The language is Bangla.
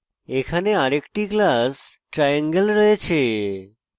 এখানে আরেকটি class triangle রয়েছে